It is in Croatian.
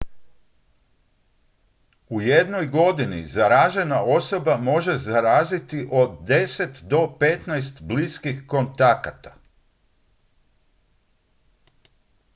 u jednoj godini zaražena osoba može zaraziti od 10 do 15 bliskih kontakata